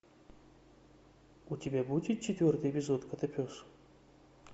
у тебя будет четвертый эпизод котопес